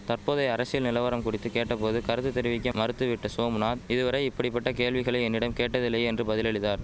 தற்போதைய அரசியல் நிலவரம் குறித்து கேட்ட போது கருத்து தெரிவிக்க மறுத்துவிட்ட சோம்நாத் இதுவரை இப்படி பட்ட கேள்விகளை என்னிடம் கேட்டதில்லை என்று பதிலளித்தார்